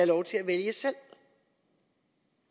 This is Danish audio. lov til at vælge selv